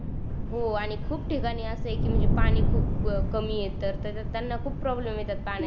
हो आणि खूप ठिकाणी अस आहे कि म्हणजे पाणी खूप कमी येत तर त्यांना खूप प्रॉब्लेम येतात पाण्याची